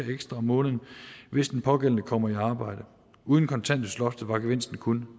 ekstra om måneden hvis den pågældende kommer i arbejde uden kontanthjælpsloftet var gevinsten kun